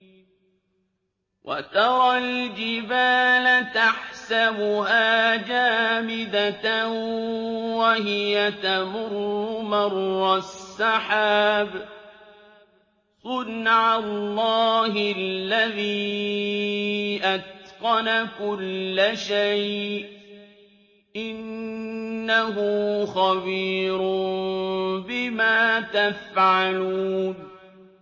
وَتَرَى الْجِبَالَ تَحْسَبُهَا جَامِدَةً وَهِيَ تَمُرُّ مَرَّ السَّحَابِ ۚ صُنْعَ اللَّهِ الَّذِي أَتْقَنَ كُلَّ شَيْءٍ ۚ إِنَّهُ خَبِيرٌ بِمَا تَفْعَلُونَ